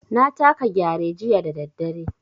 Na taka Gyare jiya da daddare.